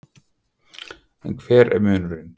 En hver er munurinn?